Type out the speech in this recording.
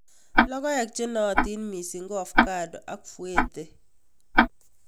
Logoek che naootin mising'ko hass ak fuerte